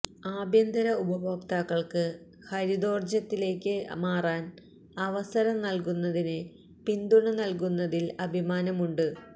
ആഭ്യന്തര ഉപയോക്താക്കള്ക്ക് ഹരിതോര്ജ്ജത്തിലേയ്ക്ക് മാറാന് അവസരം നല്കുന്നതിന് പിന്തുണ നല്കുന്നതില് അഭിമാനമുണ്ട്